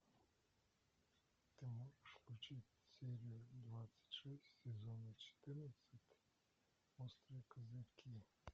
ты можешь включить серию двадцать шесть сезона четырнадцать острые козырьки